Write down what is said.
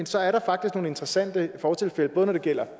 så er der faktisk nogle interessante fortilfælde både når det gælder